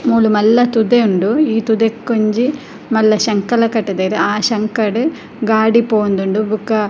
ಮೂಲು ಮಲ್ಲ ತುದೆ ಉಂಡು ಈ ತುದೆಕೊಂಜಿ ಮಲ್ಲ ಶಂಕಲ ಕಟುದೆರ್ ಆ ಶಂಕಡ್ ಗಾಡಿ ಪೋವೊಂದುಂಡು ಬೊಕ.